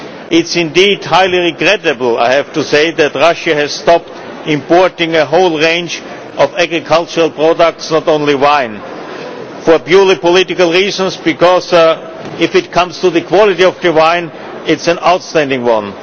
It is indeed highly regrettable, I have to say, that Russia has stopped importing a whole range of agricultural products, not only wine, for purely political reasons, because if it comes to the quality of the wine it is an outstanding one.